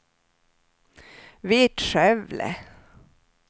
Vittskövle